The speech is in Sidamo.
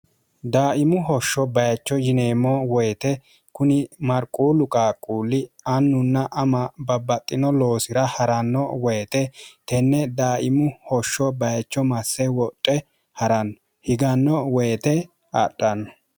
daaimu hoshsho bayicho yineemmo woyite kuni marquullu qaaqquulli annunna ama babbaxxino loosira ha'ranno woyite tenne daaimu hoshsho bayicho masse woxe ha'ranno higanno woyite adhanno